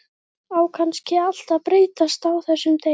Á kannski allt að breytast á þessum degi.